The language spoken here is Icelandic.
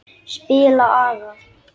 Spila agað!